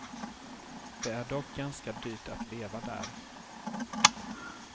Det är dock ganska dyrt att leva där.